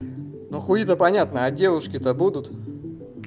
ну хуи то понятно а девушки то будут